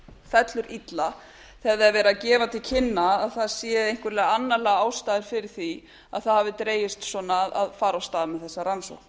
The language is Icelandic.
fellur illa þegar það er verið að gefa til kynna að það séu einhverjar annarlegar ástæður fyrir því að það hafi dregist svona að fara af stað með þessa rannsókn